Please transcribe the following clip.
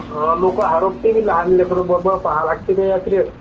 लोक हरपोते भी लहान लेकरू बरोबर पहा लागते त्या यात्रेत.